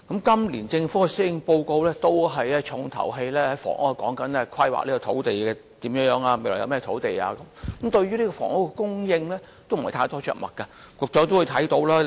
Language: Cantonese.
今年政府的施政報告的"重頭戲"，都是有關如何規劃土地，未來有甚麼土地，但對於房屋的供應，卻着墨不多。